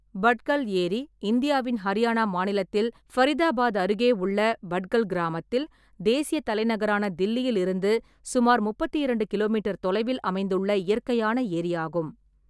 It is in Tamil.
பட்கல் ஏரி இந்தியாவின் ஹரியானா மாநிலத்தில் ஃபரிதாபாத் அருகே உள்ள பட்கல் கிராமத்தில், தேசியத் தலைநகரான தில்லியில் இருந்து சுமார் முப்பத்தி இரண்டு கிலோ மீட்டர் தொலைவில் அமைந்துள்ள இயற்கையான ஏரியாகும்.